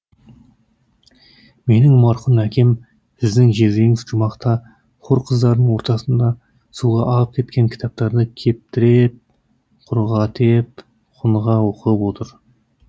менің марқұм әкем сіздің жездеңіз жұмақта хор қыздарының ортасында суға ағып кеткен кітаптарды кептір е еп құрғат е еп құныға оқы ы ы ып отыр